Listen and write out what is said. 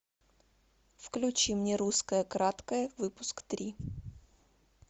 включи мне русское краткое выпуск три